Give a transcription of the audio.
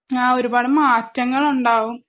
ആഹ് ഒരുപാട് മാറ്റങ്ങൾ ഉണ്ടാവും